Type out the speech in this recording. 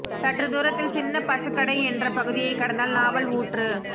சற்று தூரத்தில் சின்ன பசுக்கடை என்ற பகுதியை கடந்தால் நாவல் ஊற்று